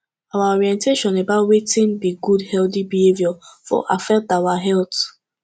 our orientation about wetin be good healthy behavior for affect our health